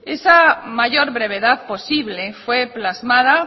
esa mayor brevedad posible fue plasmada